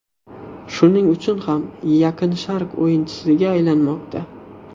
Shuning uchun ham Yaqin Sharq o‘yinchisiga aylanmoqda.